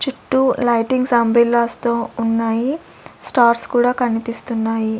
చుట్టూ లైటింగ్ తో ఉన్నాయి స్టార్స్ కూడా కన్పిస్తున్నాయి.